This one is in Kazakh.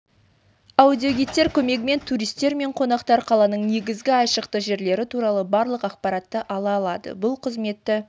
аудиогидтер көмегімен туристер мен қонақтар қаланың негізгі айшықты жерлері туралы барлық ақпаратты ала алады бұл қызметті